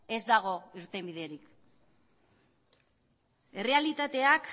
ez dago irtenbiderik errealitateak